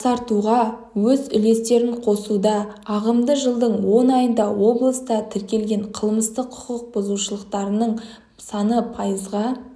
жақсартуға өз үлестерін қосуда ағымдағы жылдың он айында облыста тіркелген қылмыстық құқық бұзушылықтардың саны пайызға